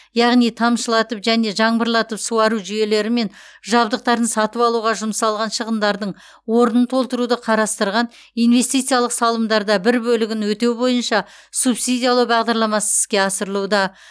яғни тамшылатып және жаңбырлатып суару жүйелері мен жабдықтарын сатып алуға жұмсалған шығындардың орнын толтыруды қарастырған инвестициялық салымдарда бір бөлігін өтеу бойынша субсидиялау бағдарламасы іске асырылуда